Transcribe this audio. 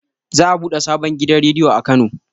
Za a buɗe sabon gidan rediyo a kano